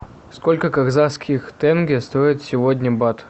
сколько казахских тенге стоит сегодня бат